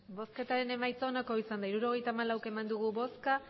emandako botoak hirurogeita hamalau bai